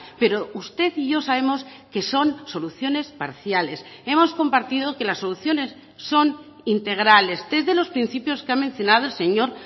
pero usted y yo sabemos que son soluciones parciales hemos compartido que las soluciones son integrales tres de los principios que ha mencionado el señor